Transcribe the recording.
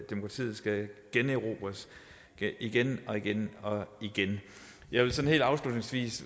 demokratiet skal generobres igen og igen og igen jeg vil helt afslutningsvis